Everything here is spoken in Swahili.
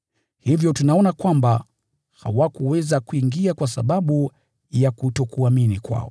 Hivyo tunaona kwamba hawakuweza kuingia kwa sababu ya kutokuamini kwao.